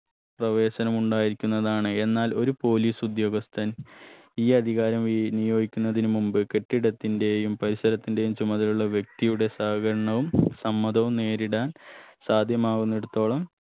പ്രവേശനമുണ്ടായിരിക്കുന്നതാണ് എന്നാൽ ഒരു police ഉദ്യോഗസ്ഥൻ ഈ അധികാരം വി നിയോഗിക്കുന്നതിന് മുമ്പ് കെട്ടിടത്തിന്റെയും പരിസരത്തിന്റെയും ചുമതലയുള്ള വ്യക്തിയുടെ സഹകരണവും സമ്മതവും നേരിടാൻ സാധ്യമാവുന്നിടത്തോളം